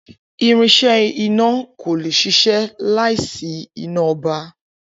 Irinsé iná kò le ṣiṣẹ́ láìsí iná ọba